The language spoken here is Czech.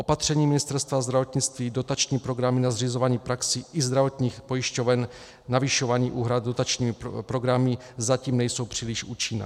Opatření Ministerstva zdravotnictví, dotační programy na zřizování praxí i zdravotních pojišťoven, navyšování úhrad dotačními programy zatím nejsou příliš účinná.